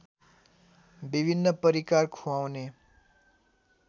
विभिन्न परिकार ख्वाउने